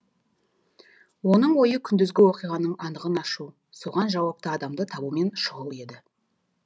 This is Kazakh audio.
оның ойы күндізгі оқиғаның анығын ашу соған жауапты адамды табумен шұғыл еді